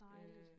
Dejligt